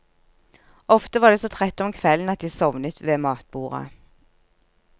Ofte var de så trette om kvelden at de sovnet ved matbordet.